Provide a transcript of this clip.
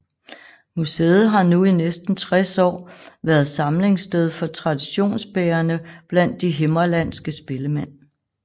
Museet har nu i næsten 60 år været samlingssted for traditionsbærerne blandt de himmerlandske spillemænd